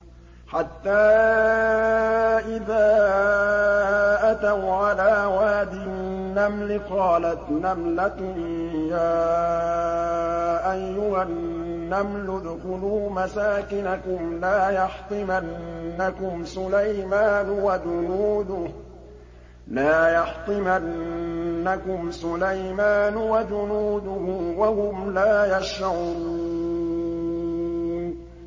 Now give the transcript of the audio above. حَتَّىٰ إِذَا أَتَوْا عَلَىٰ وَادِ النَّمْلِ قَالَتْ نَمْلَةٌ يَا أَيُّهَا النَّمْلُ ادْخُلُوا مَسَاكِنَكُمْ لَا يَحْطِمَنَّكُمْ سُلَيْمَانُ وَجُنُودُهُ وَهُمْ لَا يَشْعُرُونَ